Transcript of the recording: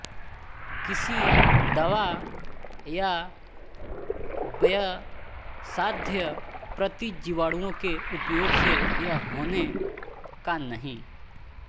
किसी दवा या व्ययसाध्य प्रतिजीवाणुओं के उपयोग से यह होने का नहीं